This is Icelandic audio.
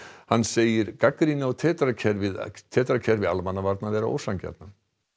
hann segir gagnrýni á tetra kerfi tetra kerfi almannavarna ósanngjarna